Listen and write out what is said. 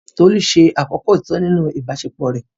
Tolu ṣe àkọ́kọ́ òtítọ́ nínú ìbáṣepọ̀ rẹ̀.